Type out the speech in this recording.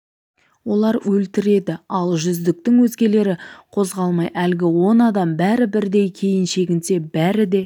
олар өлтіріледі ал жүздіктің өзгелері қозғалмай әлгі он адам бәрі бірдей кейін шегінсе бәрі де